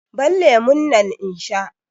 Ban lemun nan in sha!